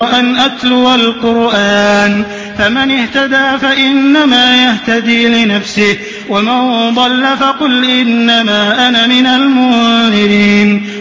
وَأَنْ أَتْلُوَ الْقُرْآنَ ۖ فَمَنِ اهْتَدَىٰ فَإِنَّمَا يَهْتَدِي لِنَفْسِهِ ۖ وَمَن ضَلَّ فَقُلْ إِنَّمَا أَنَا مِنَ الْمُنذِرِينَ